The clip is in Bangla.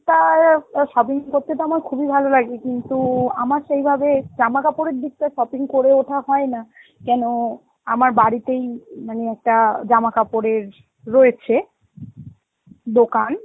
টার অ shopping করতে তো আমার খুবই ভালো লাগে, কিন্তু আমার সেই ভাবে জামা কাপড়ের দিকটা shopping করে ওঠা হয় না, কেন আমার বাড়িতেই মানে একটা জামা কাপড়ের রয়েছে দোকান